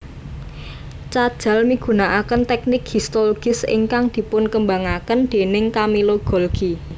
Cajal migunakaken téknik histologis ingkang dipunkembangaken déning Camillo Golgi